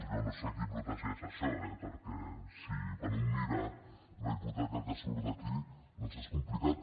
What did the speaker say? jo no sé a qui protegeix això eh perquè quan un mira la hipoteca que surt d’aquí doncs és complicat